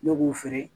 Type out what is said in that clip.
Ne b'u feere